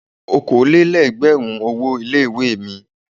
Okòó lé lẹ́gbẹ̀rún owó ilé ìwé mi.